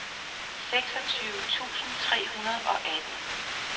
seksogtyve tusind tre hundrede og atten